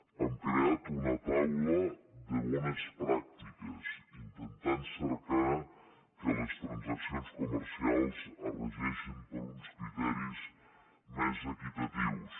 hem creat una taula de bones pràctiques intentant cercar que les transaccions comercials es regeixin per uns criteris més equitatius